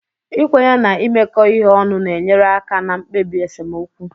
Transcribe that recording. Ikwenye na imekọ ihe ọnụ na-enyere aka na mkpebi esemokwu